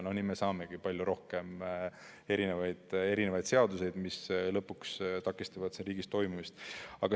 Nii me saamegi palju rohkem seadusi, mis lõpuks takistavad riigi toimimist.